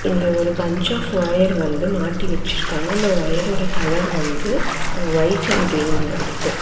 இங்க ஒரு bunch of wire வந்து மட்டி வச்சுருக்காங்க இந்த ஒயரோட கலர் வந்து ஒய்ட் அண்ட் க்ரீன்னல ருக்கு.